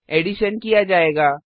addition किया जायेगा